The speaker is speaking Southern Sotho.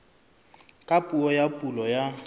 ka puo ya pulo ya